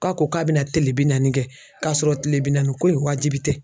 K'a ko k'a bɛna tile bi naani kɛ k'a sɔrɔ tile bi naaniko in wajibi tɛ